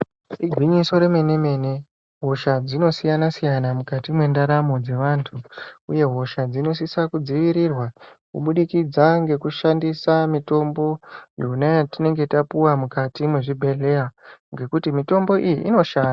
Igwinyiso remene mene hosha dzinosiyana siyana mukati mwendaramo dze vantu uye hosha dzinosisa kudzivirirwa kubudikidza ngekushandisa mitombo yona yatinenge tapuwa mukati mwezvibhehleya ngekuti mitombo iyi inoshanda.